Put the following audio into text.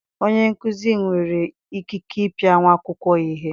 Onye nkuzi nwere ikike ịpịa nwa akwụkwọ ya ihe.